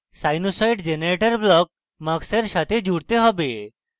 sinusoid generator block mux we সাথে জুড়তে have